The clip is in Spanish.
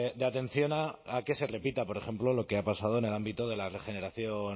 de atención a que se repita por ejemplo lo que ha pasado en el ámbito de la regeneración